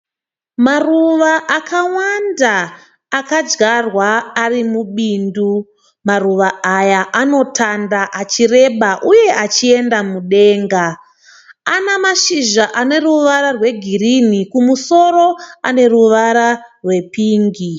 Maruva akawanda akadyarwa ari mubindu. Maruva aya anotanda achireba uye achienda mudenga. Ana mashizha ane ruvara zweGirini uye kumusoro ane ruvara rwe pingi.